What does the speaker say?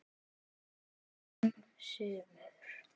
Fimm sumur